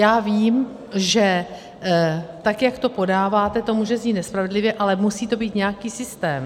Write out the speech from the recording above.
Já vím, že tak jak to podáváte, to může znít nespravedlivě, ale musí tam být nějaký systém.